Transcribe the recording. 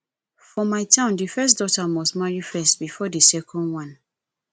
for my town the first daughter must marry first before the second one